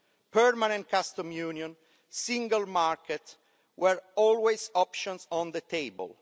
Permanent customs union and the single market were always options on the table.